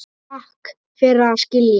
Takk fyrir að skilja.